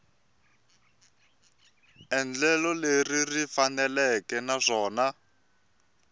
endlelo leri ri faneleke naswona